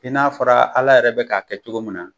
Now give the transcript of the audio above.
I n'a fɔra ala yɛrɛ be kan k'a kɛ cogo min na